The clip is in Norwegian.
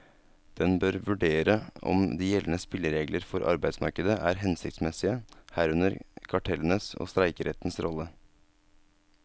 Den bør vurdere om de gjeldende spilleregler for arbeidsmarkedet er hensiktsmessige, herunder kartellenes og streikerettens rolle.